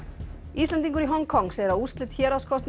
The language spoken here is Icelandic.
Íslendingur í Hong Kong segir að úrslit